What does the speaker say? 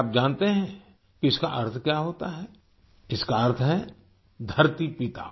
क्या आप जानते हैं कि इसका अर्थ क्या होता है इसका अर्थ है धरती पिता